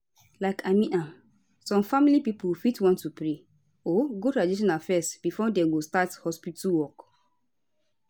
like i mean am some family pipo fit want to pray or go traditional fezz before dem go start hospitu work